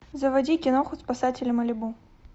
заводи киноху спасатели малибу